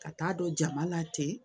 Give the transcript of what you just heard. Ka t'a dɔn jama la ten